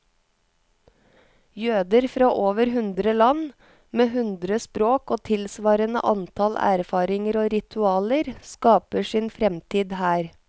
Jøder fra over hundre land, med hundre språk og tilsvarende antall erfaringer og ritualer, skaper sin fremtid her.